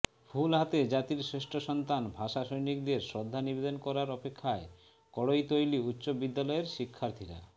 ফুল হাতে জাতির শ্রেষ্ঠ সন্তান ভাষা সৈনিকদের শ্রদ্ধা নিবেদন করার অপেক্ষায় কড়ৈতলী উচ্চ বিদ্যালয়ের শিক্ষার্থীরা